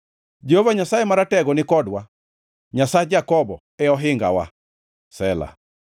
Jehova Nyasaye Maratego ni kodwa; Nyasach Jakobo e ohingawa. Sela